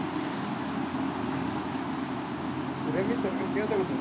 rummy circle खेळतो का तू?